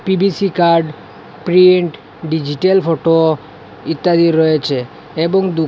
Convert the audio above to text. PVC card print digital photo ইত্যাদি রয়েছে এবং দুকা--